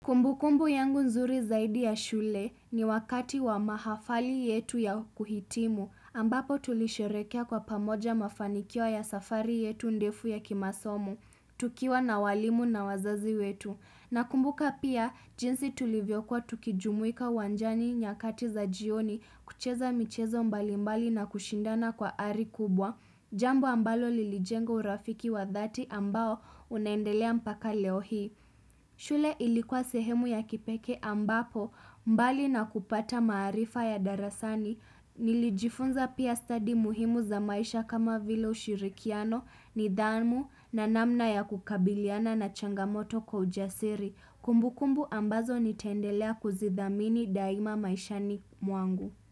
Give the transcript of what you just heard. Kumbukumbu yangu nzuri zaidi ya shule ni wakati wa mahafali yetu ya kuhitimu, ambapo tulisherekea kwa pamoja mafanikio ya safari yetu ndefu ya kimasomo, tukiwa na walimu na wazazi wetu. Na kumbuka pia, jinsi tulivyokua tukijumuika wanjani nyakati za jioni kucheza michezo mbalimbali na kushindana kwa ari kubwa, jambo ambalo lilijenga urafiki wa dhati ambao unaendelea mpaka leo hii. Shule ilikuwa sehemu ya kipeke ambapo mbali na kupata maarifa ya darasani nilijifunza pia stadi muhimu za maisha kama vile ushirikiano ni dhamu na namna ya kukabiliana na changamoto kwa ujasiri kumbukumbu ambazo nitaendelea kuzidhamini daima maisha ni mwangu.